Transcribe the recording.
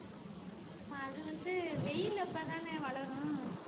ஆமா ஆமா அது வந்து வெயில் அப்பதானே வளரும்